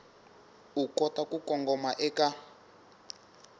u kota ku kongoma eka